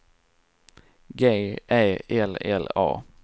G Ä L L A